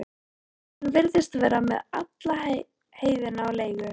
Hann virðist vera með alla heiðina á leigu.